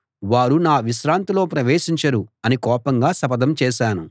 వారు నా విశ్రాంతిలో ప్రవేశించరు అని కోపంగా శపథం చేశాను